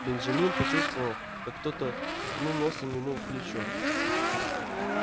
бенджамин почувствовал как кто-то ткнул носом ему в плечо